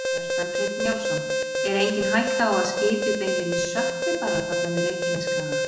Kjartan Hreinn Njálsson: Er engin hætta á að skipið beinlínis sökkvi bara þarna við Reykjanesskaga?